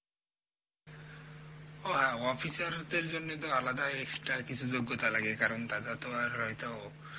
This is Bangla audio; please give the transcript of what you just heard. ও হ্যাঁ officer দের জন্য তো আলাদা extra কিছু যোগ্যতা কারণ তারাতো আর হয়েতো